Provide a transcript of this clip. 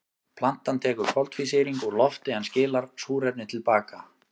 Plantan tekur koltvísýring úr lofti en skilar súrefni til baka.